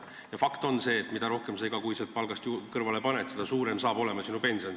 Ja fakt on see, et mida rohkem sa iga kuu palgast kõrvale paned, seda suurem saab olema sinu pension.